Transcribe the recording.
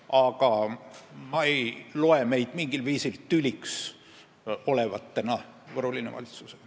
Aga ma ei arva, et me tekitaksime mingil viisil tüli Võru Linnavalitsusele.